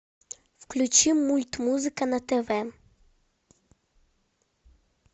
включи мульт музыка на тв